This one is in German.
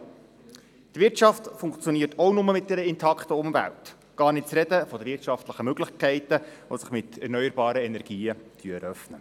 Auch die Wirtschaft funktioniert nur mit einer intakten Umwelt, gar nicht zu reden von den wirtschaftlichen Möglichkeiten, die sich mit erneuerbaren Energien eröffnen.